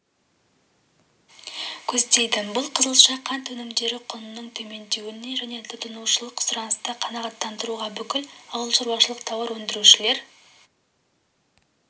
көздейді бұл қызылша қант өнімдері құнының төмендеуіне және тұтынушылық сұранысты қанағаттандыруға бүкіл ауылшаруашылық тауар өндірушілер